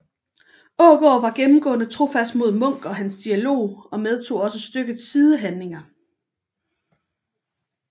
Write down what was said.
Aagaard var gennemgående trofast mod Munk og hans dialog og medtog også stykkets sidehandlinger